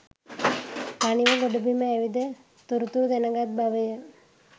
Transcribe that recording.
තනිව ගොඩබිම ඇවිද තොරතුරු දැනගත් බවය.